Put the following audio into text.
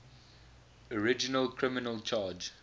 original criminal charge